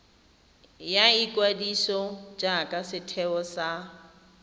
ya ikwadiso jaaka setheo sa